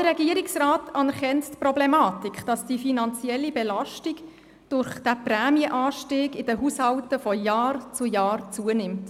Auch der Regierungsrat anerkennt die Problematik, dass die finanzielle Belastung durch diesen Prämienanstieg in den Haushalten von Jahr zu Jahr zunimmt.